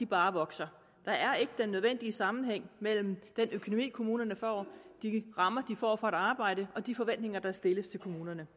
bare vokser der er ikke den nødvendige sammenhæng mellem den økonomi kommunerne får de rammer de får for arbejdet og de forventninger der stilles til kommunerne